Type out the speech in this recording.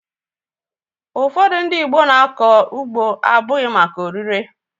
Ụfọdụ ndị Igbo na-akọ ugbo abụghị maka oririe